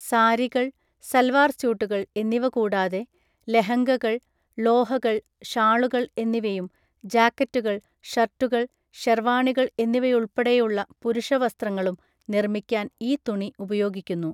സാരികൾ, സൽവാർ സ്യൂട്ടുകൾ എന്നിവ കൂടാതെ, ലെഹംഗകൾ, ളോഹകള്‍, ഷാളുകൾ, എന്നിവയും ജാക്കറ്റുകൾ, ഷർട്ടുകൾ, ഷെർവാണികൾ എന്നിവയുൾപ്പെടെയുള്ള പുരുഷവസ്ത്രങ്ങളും നിർമ്മിക്കാൻ ഈ തുണി ഉപയോഗിക്കുന്നു.